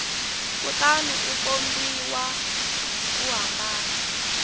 kutani u kombisa ku hambana